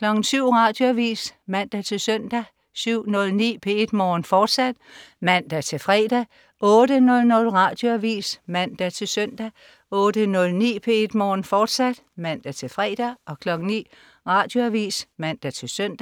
Radioavis (man-søn) 07.09 P1 Morgen, fortsat (man-fre) 08.00 Radioavis (man-søn) 08.09 P1 Morgen, fortsat (man-fre) 09.00 Radioavis (man-søn)